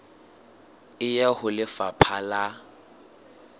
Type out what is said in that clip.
e ya ho lefapha la